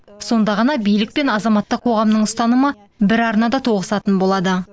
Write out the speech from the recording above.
сонда ғана билік пен азаматтық қоғамның ұстанымы бір арнада тоғысатын болады